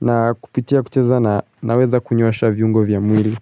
na kupitia kucheza na weza kunyoosha viungo vya mwili.